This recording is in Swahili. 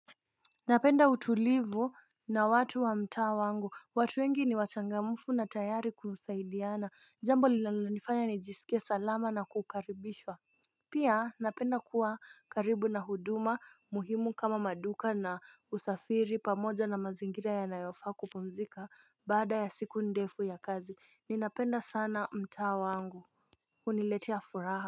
Napenda utulivu na watu wa mtaa wa wangu, watu wengi ni wachangamfu na tayari kusaidiana, jambo linalonifanya nijisikie salama na kukaribishwa Pia, napenda kuwa karibu na huduma muhimu kama maduka na usafiri pamoja na mazingira yanayofaa kupumzika baada ya siku ndefu ya kazi, ninapenda sana mtaa wangu huniletea furaha.